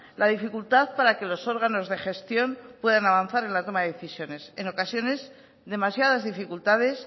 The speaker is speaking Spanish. la dificultad para que los órganos de gestión puedan avanzar en la toma de decisiones en ocasiones demasiadas dificultades